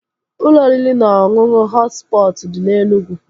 Ụlọ oriri na ọṅụṅụ Họt Spọtụ dị na Enugwu